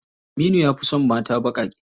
Aminu ya fi son mata baƙaƙe.